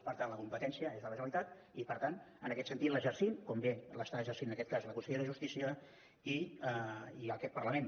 per tant la competència és de la generalitat i per tant en aquest sentit l’exercim com bé l’estan exercint en aquest cas la consellera de justícia i aquest parlament